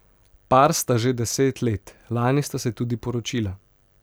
Par sta že deset let, lani sta se tudi poročila.